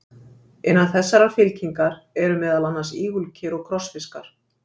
Innan þessarar fylkingar eru meðal annars ígulker og krossfiskar.